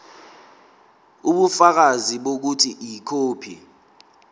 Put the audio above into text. ubufakazi bokuthi ikhophi